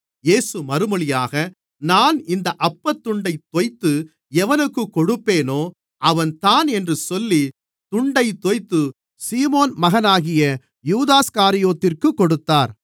இயேசு மறுமொழியாக நான் இந்த அப்பத்துண்டைத் தோய்த்து எவனுக்குக் கொடுப்பேனோ அவன்தான் என்று சொல்லி துண்டைத் தோய்த்து சீமோன் மகனாகிய யூதாஸ்காரியோத்திற்குக் கொடுத்தார்